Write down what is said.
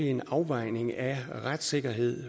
en afvejning af retssikkerhed